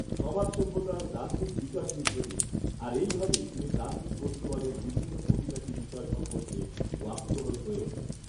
সমাজ সভ্যতার দ্বান্দ্বিক বিকাশঋদ্ধ তিনি। আর এই ভাবেই তিনি দ্বান্দ্বিক বস্তুবাদের বিভিন্ন খুঁটিনাটি বিষয় সম্পর্কে ওয়াকিবহাল হয়ে ওঠেন।